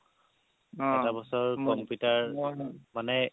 এটা বছৰ computer মানে